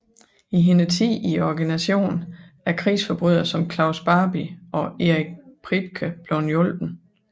I hendes tid i organisationen er krigsforbrydere som Klaus Barbie og Erich Priebke blevet hjulpet